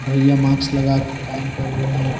भैया मास्क लगा के काम कर रहे हैं।